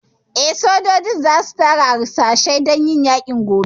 Eh, sojojin za su tara harsashai dan yaƙin gaba